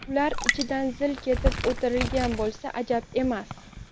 Ular ichidan zil ketib o‘tirgan bo‘lsa ajab emas.